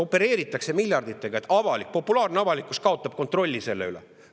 Opereeritakse miljarditega, et avalikkus kaotaks kontrolli selle üle.